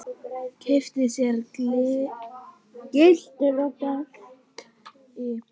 Keypti sér gyltur og gelti.